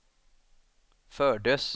fördes